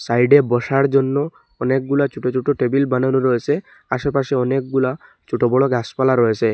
সাইডে বসার জন্য অনেকগুলা ছুটো ছুটো টেবিল বানানোর রয়েসে আশেপাশে অনেকগুলা ছোট বড় গাছপালা রয়েসে।